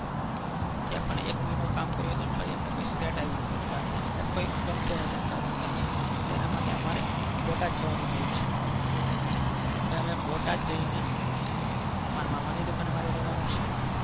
ત્યાં પણ એક મહિનો કામ કર્યું હતું પછી અમને કંઈ set નહોતું મતલબ કાંઈ ગમતું નતું અમદાવાદની અંદર તેના માટે અમારે બોટાદ જવાનું થયું છે. હવે અમે બોટાદ જઈને મારા મામા ની દુકાને મારે રહેવાનું છે.